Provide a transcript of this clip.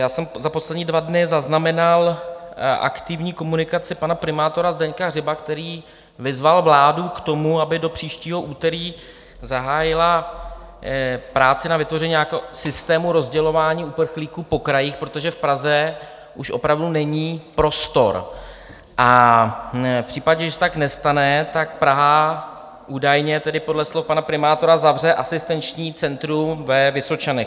Já jsem za poslední dva dny zaznamenal aktivní komunikaci pana primátora Zdeňka Hřiba, který vyzval vládu k tomu, aby do příštího úterý zahájila práci na vytvoření nějakého systému rozdělování uprchlíků po krajích, protože v Praze už opravdu není prostor, a v případě, že se tak nestane, tak Praha, údajně tedy podle slov pana primátora, zavře asistenční centrum ve Vysočanech.